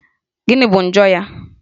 Gịnị bụ njọ ya?